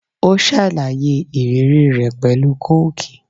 Ó ṣàlàyé ìrírí rẹ̀ pẹ̀lú Kóókì.